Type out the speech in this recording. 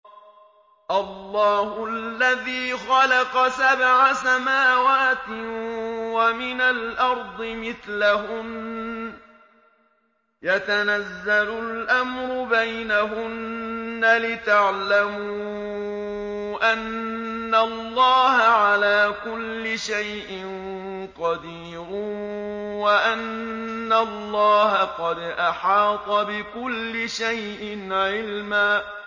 اللَّهُ الَّذِي خَلَقَ سَبْعَ سَمَاوَاتٍ وَمِنَ الْأَرْضِ مِثْلَهُنَّ يَتَنَزَّلُ الْأَمْرُ بَيْنَهُنَّ لِتَعْلَمُوا أَنَّ اللَّهَ عَلَىٰ كُلِّ شَيْءٍ قَدِيرٌ وَأَنَّ اللَّهَ قَدْ أَحَاطَ بِكُلِّ شَيْءٍ عِلْمًا